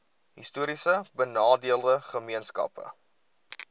histories benadeelde gemeenskappe